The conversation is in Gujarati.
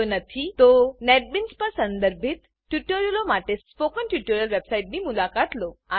જો નથી તો નેટબીન્સ પર સંદર્ભિત ટ્યુટોરીયલો માટે સ્પોકન ટ્યુટોરીયલ વેબસાઈટની મુલાકાત લો